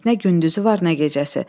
Nə gündüzü var, nə gecəsi.